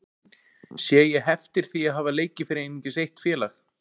Sé ég heftir því að hafa leikið fyrir einungis eitt félag?